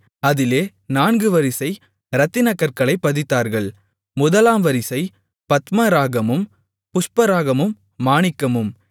அதிலே நான்கு வரிசை இரத்தினக்கற்களைப் பதித்தார்கள் முதலாம் வரிசை பத்மராகமும் புஷ்பராகமும் மாணிக்கமும்